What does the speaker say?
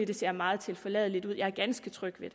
det ser meget tilforladeligt ud jeg er ganske tryg ved